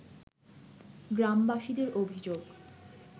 গ্রামবাসীদের অভিযোগ